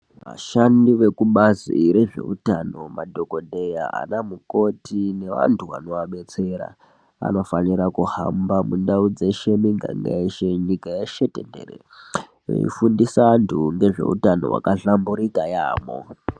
Vashandi vekubazi rezveutano madhokodheya, ana mukoti nevantu vanova betsera vanofanira kuhamba mundau dzeshe ,miganga yeshe , nyika yeshe tenderere veifundiswa antu ngezveutano hwakahlamburika yamho.